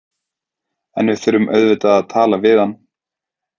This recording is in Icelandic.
En við þurfum auðvitað að tala við hann.